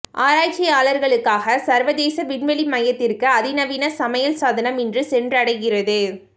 ஆராய்ச்சியாளர்களுக்காக சர்வதேச விண்வெளி மையதிற்கு அதிநவீன சமையல் சாதனம் இன்று சென்றடைகிறது